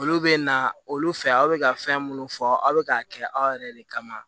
Olu bɛ na olu fɛ aw bɛ ka fɛn minnu fɔ aw bɛ k'a kɛ aw yɛrɛ de kama